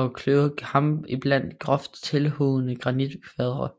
og kløvet kamp iblandet groft tilhugne granitkvadre